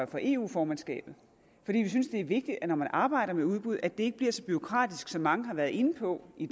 for eu formandskabet fordi vi synes at det er vigtigt når man arbejder med udbud at det ikke bliver så bureaukratisk som mange har været inde på i